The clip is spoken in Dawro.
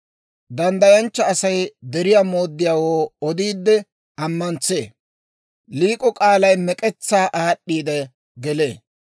Danddayanchcha Asay deriyaa mooddiyaawoo odiide amantsee; liik'o k'aalay mek'etsaa aad'd'iidde gelee.